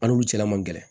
Hali olu cɛla man gɛlɛn